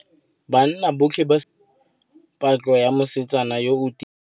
Banna botlhê ba simolotse patlô ya mosetsana yo o timetseng.